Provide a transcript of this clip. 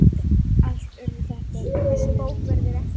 Allt urðu þetta vinir þeirra.